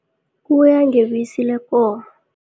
Kuya ngebisi lekomo.